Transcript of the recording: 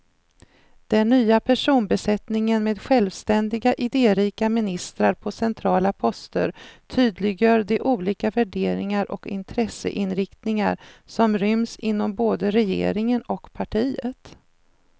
Den nya personbesättningen med självständiga, idérika ministrar på centrala poster tydliggör de olika värderingar och intresseinriktningar som ryms inom både regeringen och partiet.